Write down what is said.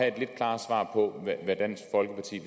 et lidt klarere svar på hvad dansk folkeparti